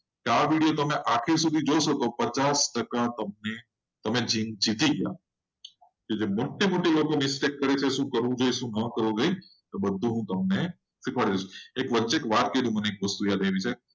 આ વિડીયો તમે આખો જોશો તમે પચાસ ટકા આ જીતી ગયા તે મોટી મોટી mistake કરે છે. એ મોઢા લોકોએ શું કરવું જોઈએ? શું ન કરવું જોઈએ? એ બધું હું તમને શીખવાડી દઈશ વચ્ચે એક વાટકી જઈને.